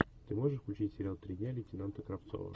ты можешь включить сериал три дня лейтенанта кравцова